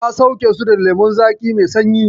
Na sauke su da lemon lemon zaƙi mai sanyi.